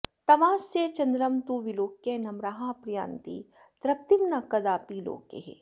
तवास्यचद्रं तु विलोक्य नम्राः प्रयान्ति तृप्तिं न कदापि लोके